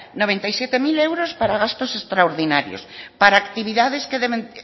noventa y siete mil euros para gastos extraordinarios para actividades para